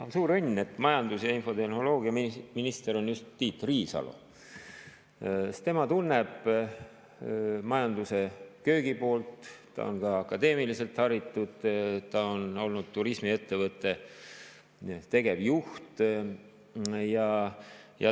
On suur õnn, et majandus‑ ja infotehnoloogiaminister on just Tiit Riisalo, sest tema tunneb majanduse köögipoolt, ta on ka akadeemiliselt haritud, ta on olnud turismiettevõtte tegevjuht.